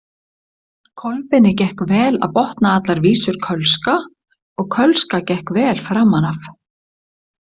Kolbeini gekk vel að botna allar vísur kölska og kölska gekk vel framan af.